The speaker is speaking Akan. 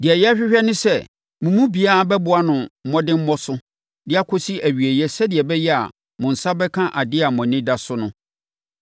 Deɛ yɛrehwehwɛ ne sɛ mo mu biara bɛboa no mmɔdemmɔ so de akɔsi awieeɛ sɛdeɛ ɛbɛyɛ a mo nsa bɛka adeɛ a mo ani da so no.